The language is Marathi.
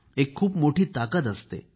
एक खूप मोठी ताकद असते